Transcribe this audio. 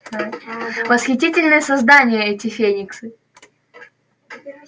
восхитительные создания эти фениксы